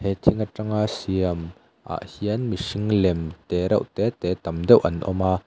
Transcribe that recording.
he thing atanga siam ah hian mihring lem te reuh te te tam deuh an awm a.